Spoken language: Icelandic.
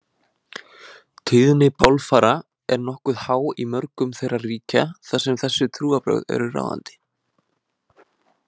Tíðni bálfara er nokkuð há í mörgum þeirra ríkja þar sem þessi trúarbrögð eru ráðandi.